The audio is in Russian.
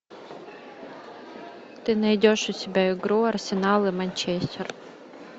ты найдешь у себя игру арсенал и манчестер